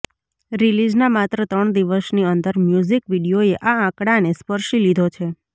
રિલીઝના માત્ર ત્રણ દિવસની અંદર મ્યુઝિક વીડિયોએ આ આંકડાને સ્પર્શી લીધો છે